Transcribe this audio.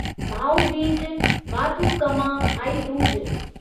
Bhau Beej Bathukamma Bhai Dooj